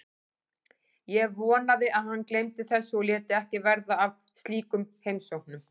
Ég vonaði að hann gleymdi þessu og léti ekki verða af slíkum heimsóknum.